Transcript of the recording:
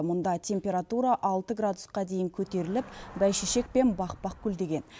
мұнда температура алты градусқа дейін көтеріліп бәйшешек пен бақ бақ гүлдеген